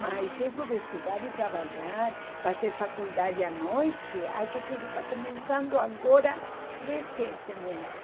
Mas isso de estudar e trabalhar, fazer faculdade à noite, acho que isso está começando agora recentemente.